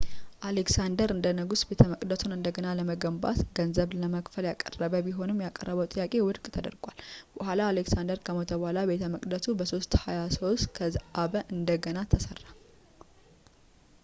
አሌክሳንደር እንደ ንጉሥ ቤተመቅደሱን እንደገና ለመገንባት ገንዘብ ለመክፈል ያቀረበ ቢሆንም ያቀረበው ጥያቄ ውድቅ ተደርጓል በኋላ አሌክሳንደር ከሞተ በኋላ ቤተ መቅደሱ በ 323 ከዘአበ እንደገና ተሠራ